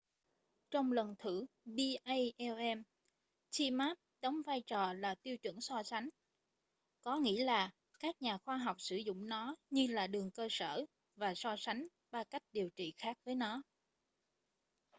trong lần thử palm zmapp đóng vai trò là tiêu chuẩn so sánh có nghĩ là các nhà khoa học sử dụng nó như là đường cơ sở và so sánh ba cách điều trị khác với nó